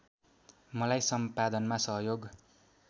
मलाई सम्पादनमा सहयोग